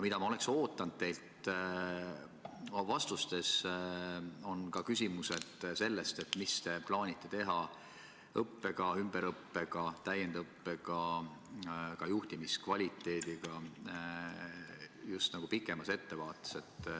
Ma oleks oodanud teilt vastustes seda, mida te plaanite teha õppega, ümberõppega, täiendõppega, ka juhtimiskvaliteediga just nagu pikemas ettevaates.